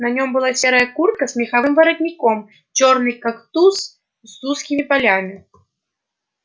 на нем была серая куртка с меховым воротником чёрный картуз с узкими полями